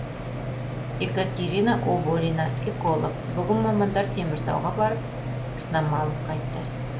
екатерина оборина эколог бүгін мамандар теміртауға барып сынама алып қайтты